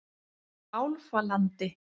Álfalandi